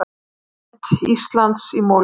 Ímynd Íslands í molum